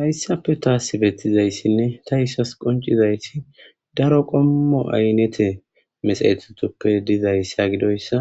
hayssappe taasi bettizayssinne ta issas qoncizayti daro qommo aynete mesayethutoppe dizayssa gidoyssa